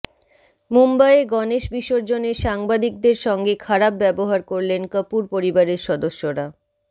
মুম্বইয়ে গণেশ বিসর্জনে সাংবাদিকদের সঙ্গে খারাপ ব্যবহার করলেন কপূর পরিবারের সদস্যরা